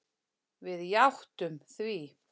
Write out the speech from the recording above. Við játtum því.